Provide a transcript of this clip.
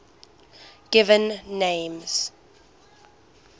given names